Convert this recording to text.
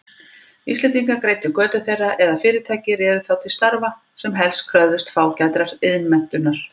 Íslendingar greiddu götu þeirra eða fyrirtæki réðu þá til starfa, sem helst kröfðust fágætrar iðnmenntunar.